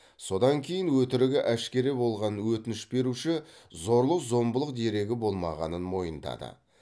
содан кейін өтірігі әшкере болған өтініш беруші зорлық зомбылық дерегі болмағанын мойындады